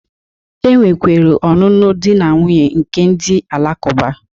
E nwekwere ọnụnụ di na nwuńye nke ndị Alakụba